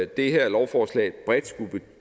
det her lovforslag bredt